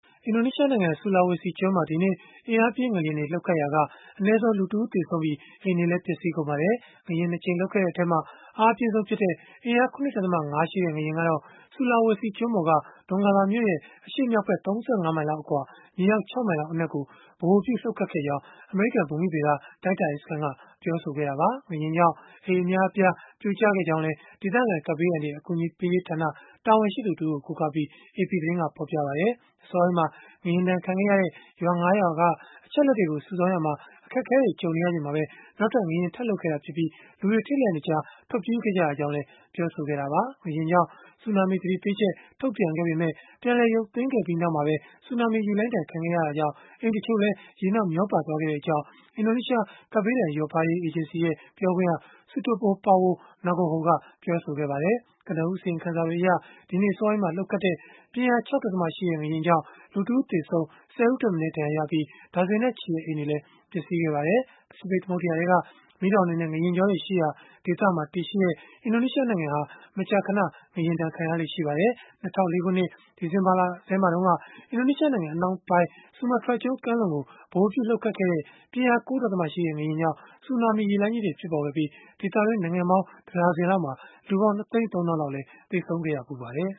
အင်ဒိုနီးရှားနိုင်ငံ Sulawesi ကျွန်းမှာ ဒီကနေ့ အင်အားပြင်း ငလျင်တွေ လှုပ်ခတ်ခဲ့ရာက အနည်းဆုံး လူတဦး သေဆုံးပြီး၊ အိမ်တွေလည်း ပျက်စီးကုန်ပါတယ်။ ငလျင် ၂ ကြိမ် လှုပ်ခဲ့တဲ့အထဲမှာ အားအပြင်းဆုံးဖြစ်တဲ့ အင်အား ၇.၅ ရှိတဲ့ ငလျင်ကတော့ Sulawesi ကျွန်းပေါ်က Donggala မြို့ရဲ့ အရှေ့မြောက်ဘက် ၃၅ မိုင်လောက်အကွာ မြေအောက် ၆ မိုင်လောက် အနက်ကို ဗဟိုပြုလှုပ်ခဲ့ကြောင်း အမေရိကန် ဘူမိဗေဒတိုင်းတာရေးစခန်းက ပြောဆိုခဲ့တာပါ။ ငလျင်ကြောင့် အိမ်အများအပြား ပြိုကျခဲ့ကြောင်းလည်း ဒေသခံ ကပ်ဘေးအန္တရာယ် အကူအညီပေးရေးဌာန တာဝန်ရှိသူတဦးကို ကိုးကားပြီး AP သတင်းက ဖော်ပြပါတယ်။ အစောပိုင်းမှာ ငလျင်ဒဏ်ခံခဲ့ရတဲ့ ရွာ ၅ ရွာက အချက်အလက်တွေကို စုဆောင်းရာမှာ အခက်အခဲတွေ ကြုံနေချိန်မှာပဲ နောက်ထပ် ငလျင်ထပ်လှုပ်ခဲ့တာဖြစ်ပြီး၊ လူတွေ ထိတ်လန့်တကြား ထွက်ပြေးခဲ့ကြကြောင်းလည်း ပြောဆိုခဲ့တာပါ။ ငလျင်ကြောင့် ဆူနာမီသတိပေးချက် ထုတ်ပြန်ခဲ့ပေမဲ့၊ ပြန်လည်ရုပ်သိမ်းခဲ့ပြီးနောက်မှာပဲ ဆူနာမီရေလှိုင်းဒဏ်ခံခဲ့ရတဲ့အတွက် အိမ်တချို့ရေနောက် မျောပါသွားခဲ့ကြောင်းလည်း အင်ဒိုနီးရှား ကပ်ဘေးဒဏ်လျော့ပါးရေး အေဂျင်စီ ပြောခွင့်ရ Sutopo Purwo Nugroho ကပြောပါတယ်။ ကနဦးအစီရင်ခံစာတွေအရဒီနေ့ အစောပိုင်းမှာ လှုပ်ခတ်ခဲ့တဲ့ ပြင်းအား ၆.၁ ရှိတဲ့ ငလျင်ကြောင့် လူတဦး သေဆုံး၊ ၁၀ ဦးထက်မနည်း ဒဏ်ရာရပြီး ဒါဇင်နဲ့ချီတဲ့ အိမ်တွေလည်း ပျက်စီးခဲ့ပါတယ်။ ပစိဖိတ်သမုဒ္ဒရာထဲက မီးတောင်တွေနဲ့ ငလျင်ကြောတွေရှိရာဒေသမှာ တည်ရှိတဲ့ အင်ဒိုနီးရှားနိုင်ငံဟာ မကြာခဏ ငလျင်ဒဏ်ခံရလေ့ ရှိပါတယ်။ ၂၀၀၄ ခုနှစ် ဒီဇင်ဘာလမှာတုန်းက အင်ဒိုနီးရှားနိုင်ငံ အနောက်ပိုင်း ဆူမားထြားကျွန်း ကမ်းလွန်ကို ဗဟိုပြုပြီး လှုပ်ခတ်ခဲ့တဲ့ ပြင်းအား ၉.၁ ရှိတဲ့ ငလျင်ကြောင့် ဆူနာမီရေလှိုင်းကြီးတွေ ဖြစ်ပေါ်ခဲ့ပြီး ဒေသတွင်းနိုင်ငံပေါင်း တဒါဇင်လောက်မှာ လူပေါင်း ၂၃၀,၀၀၀ လောက် သေဆုံးခဲ့ရဖူးပါတယ်။